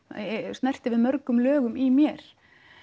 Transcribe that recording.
snerti við mörgum lögum í mér